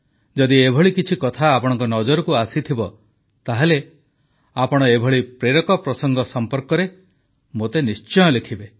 ଯଦି ଏଭଳି କିଛି କଥା ଆପଣଙ୍କ ନଜରକୁ ଆସିଥିବ ତାହେଲେ ଆପଣ ଏଭଳି ପ୍ରସଙ୍ଗ ସମ୍ପର୍କରେ ମୋତେ ନିଶ୍ଚୟ ଲେଖିବେ